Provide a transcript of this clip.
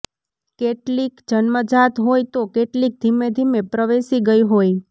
કેટલીક જન્મજાત હોય તો કેટલીક ધીમે ધીમે પ્રવેશી ગઈ હોય